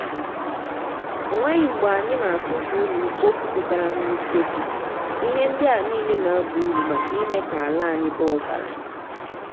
ọ nweghi mgbe anyị na-atụfu unyi mkpofu putara na useku ihe ndi a niile na-aba uru maka ime ka ala anyị baa ọgaranya.